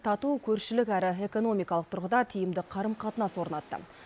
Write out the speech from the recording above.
тату көршілік әрі экономикалық тұрғыда тиімді қарым қатынас орнатты